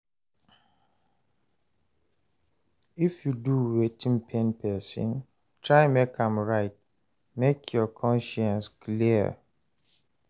If yu do wetin pain pesin, try mek am right mek yur conscience clear.